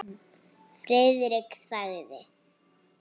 Friðrik þagði.